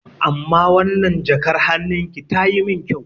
Amma wannan jakar hannun ki tayi mun kyau.